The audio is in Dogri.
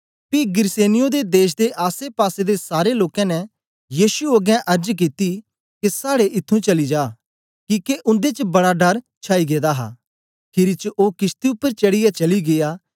पी गिरसेनियों देश दे आसेपासे दे सारे लोकें ने यीशु अगें अर्ज कित्ती के साड़े ईथुं चली जा किके उन्दे च बड़ा डर छाई गेदा हा खीरी च ओ किशती उपर चढ़ीयै चली गीया